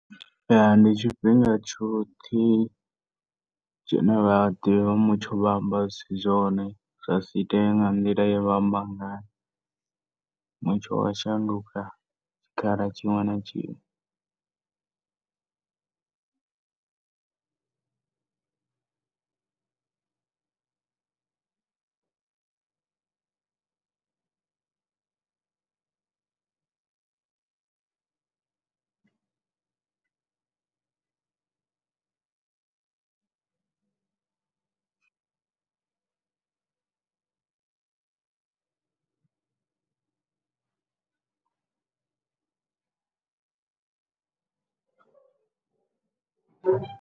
Ya ndi tshifhinga tshoṱhe tshine vhaḓivhi vha mutsho vha amba zwisi zwone zwasi iteye nga nḓila ya vha amba ngayo mutsho wa shanduka tshikhala tshiṅwe na tshiṅwe.